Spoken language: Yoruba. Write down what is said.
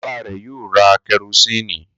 Bàbá rẹ̀ yóò ra kẹrósíínì.